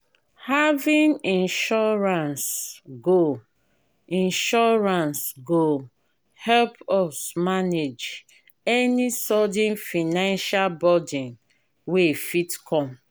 having insurance go insurance go help us manage any sudden financial burden wey fit come.